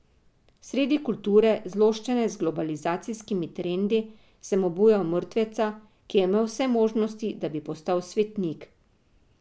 Sredi kulture, zloščene z globalizacijskimi trendi, sem obujal mrtveca, ki je imel vse možnosti, da bi postal svetnik.